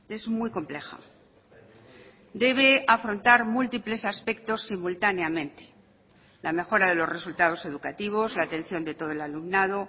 es muy compleja debe afrontar múltiples aspectos simultáneamente la mejora de los resultados educativos la atención de todo el alumnado